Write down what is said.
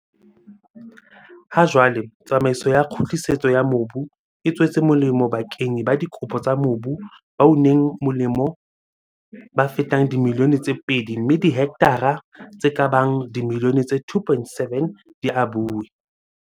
Ha jwale, tsamaiso ya kgutlisetso ya mobu e tswetse molemo bakenyi ba dikopo tsa mobu ba uneng molemo ba fetang dimilione tse pedi mme dihektara tse ka bang dimilione tse 2.7 di abuwe.